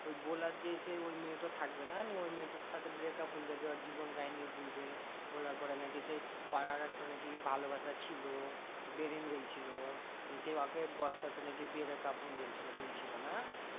ওই বলার যে সেই ওই মেয়েটা থাকবে না? নিয়ে ওই মেয়েটার সাথে breakup হয়ে যাবে ওর জীবন কাহিনী বলবে। বলার পরে নাকি সেই পাড়ার একটা নাকি ভালোবাসা ছিল। ছিল নিয়ে সেই ওকে সেই বস্তাতে নাকি বেড়ে কাফন দিয়ে ছিল বলছিলো না?